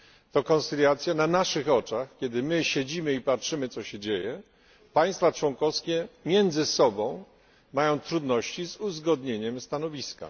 To koncyliacja na naszych oczach, kiedy my siedzimy i patrzymy co się dzieje, państwa członkowskie między sobą mają trudności z uzgodnieniem stanowiska.